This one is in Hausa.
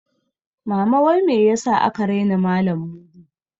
Mama wai me yasa aka raina malan Mudi?